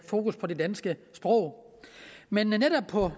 fokus på det danske sprog men netop på